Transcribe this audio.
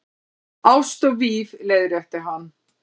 Ást og víf- leiðrétti hann.